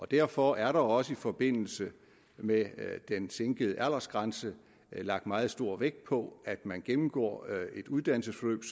derfor er der også i forbindelse med den sænkede aldersgrænse lagt meget stor vægt på at man gennemgår et uddannelsesforløb